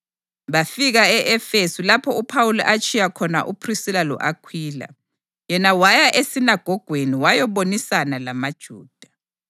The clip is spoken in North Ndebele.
Bafika e-Efesu lapho uPhawuli atshiya khona uPhrisila lo-Akhwila. Yena waya esinagogweni wayabonisana lamaJuda.